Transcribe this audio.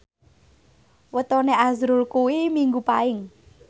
wetone azrul kuwi Minggu Paing